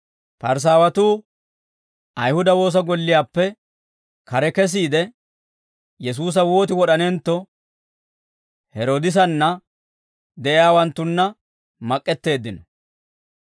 Parisaawatuu Ayihuda woosa golliyaappe kare kesiide, Yesuusa wooti wod'anentto Heroodisanna de'iyaawanttunna mak'k'eteeddino.